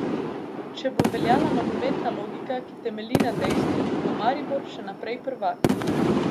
Če bo obveljala nogometna logika, ki temelji na dejstvih, bo Maribor še naprej prvak.